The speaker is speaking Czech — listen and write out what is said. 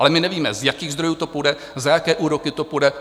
Ale my nevíme, z jakých zdrojů to půjde, za jaké úroky to půjde.